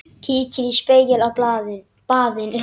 Kíkir í spegil á baðinu.